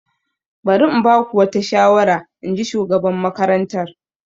Bari in ba ku wata shawara, in ji shugaban makarantar.